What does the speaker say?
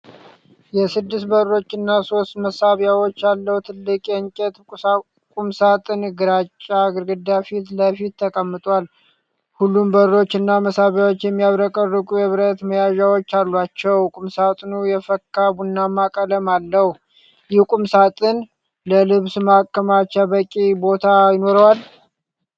የስድስት በሮች እና ሶስት መሳቢያዎች ያለው ትልቅ የእንጨት ቁምሳጥን ግራጫ ግድግዳ ፊት ለፊት ተቀምጧል። ሁሉም በሮች እና መሳቢያዎች የሚያብረቀርቁ የብረት መያዣዎች አሏቸው። ቁምሳጥኑ የፈካ ቡናማ ቀለም አለው። ይህ ቁምሳጥን ለልብስ ማከማቻ በቂ ቦታ ይኖረዋል?